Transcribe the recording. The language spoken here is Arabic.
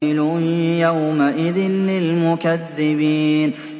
وَيْلٌ يَوْمَئِذٍ لِّلْمُكَذِّبِينَ